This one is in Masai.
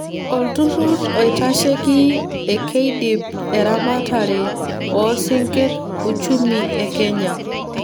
olturur oitasheii ekeidip eramatare oo sinkir uchumi e kenya